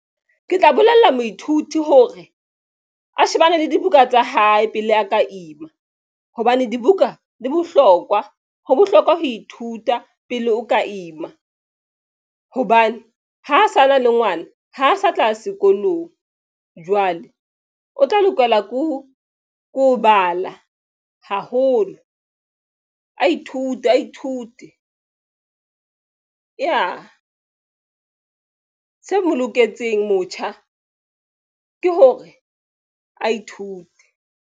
Ke tla bolella moithuti hore a shebane le dibuka tsa hae pele a ka ima hobane dibuka di bohlokwa ho bohlokwa ho ithuta pele o ka ima. Hobane ha sana le ngwana ha sa tla ya sekolong Jwale o tla lokela ko bala haholo. A ithute ya se mo loketseng motjha ke hore a ithute.